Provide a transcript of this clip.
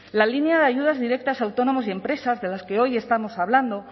la línea de ayudas directas a autónomos y empresas de las que hoy estamos hablando